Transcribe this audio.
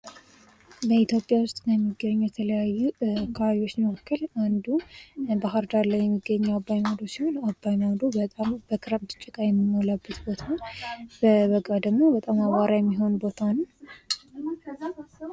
በኢትዮጵያ ውስጥ ከሚገኙ የተለያዩ አካባቢዎች መካከል አንዱ ባህርዳር ላይ የሚገኘው አባይ ማዶ ሲሆን አባይ ማዶ በጣም በክረምት ጭቃ የሚሞላበት ፣ በበጋ ደግሞ በጣም አቧራ የሚሆን ቦታ ነው ።